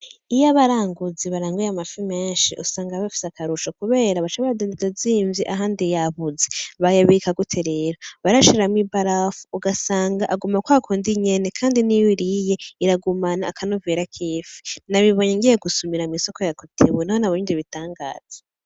Iyo abaranguzi baranguye amafi menshi usanga bafise akarusho kubera baca bayadandaza azimvye ahandi yabuze, bayabika gute rero? Barayashiramwo ibarafu ugasanga aguma kwa kundi nyene kandi niyo uyiriye iragumana akanovera k'ifi nababibonye ngiye gusumira mw'isoko ya Cotebu niho nabonye ivyo bitangaza.